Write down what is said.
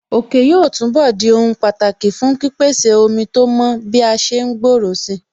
Òkè yóò túnbọ̀ di ohun pàtàkì fún pípèsè ọmọ tó mọ́ bí a ṣe ń gbòòrò si